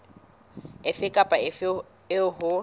efe kapa efe eo ho